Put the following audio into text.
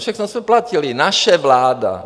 Všechno jsme platili, naše vláda.